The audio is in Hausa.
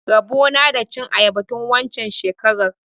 Rabo na da cin ayaba tun waccen shekarar.